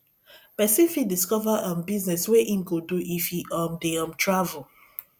pesin fit discover um business wey im go do if e um dey um travel